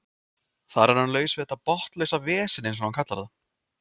Þar er hann laus við þetta botnlausa vesen eins og hann kallar það.